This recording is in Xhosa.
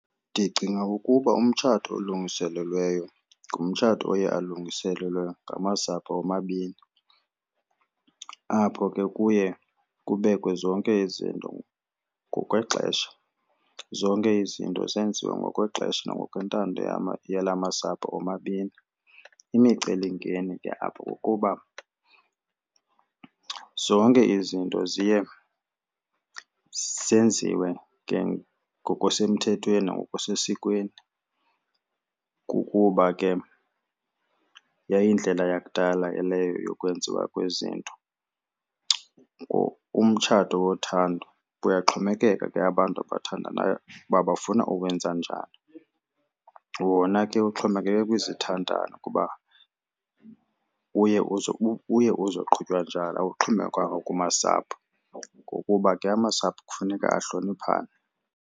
Ndicinga ukuba umtshato olungiselelweyo ngumtshato oye alungiselelwe ngamasapho omabini apho ke kuye kubekwe zonke izinto ngokwexesha, zonke izinto zenziwa ngokwexesha nangokwentando yala masapho omabini. Imicelimngeni ke apho kukuba zonke izinto ziye zenziwe ke ngokusemthethweni nangokusesikweni kukuba ke yayindlela yakudala ke leyo yokwenziwa kwezinto or umtshato wothando. Kuyaxhomekeka ke abantu abathandanayo uba bafuna ukuwenza njani. Wona ke uxhomekeke kwizithandani kuba uye uzoqhutywa njani, awuxhomekekanga kumasapho ngokuba ke amasapho kufuneka ahloniphane.